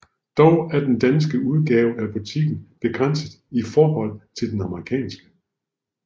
Dog er den danske udgave af butikken begrænset i forhold til den amerikanske